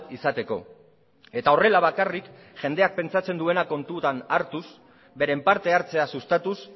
izateko eta horrela bakarrik jendeak pentsatzen duena kontutan hartuz beren parte hartzea sustatuz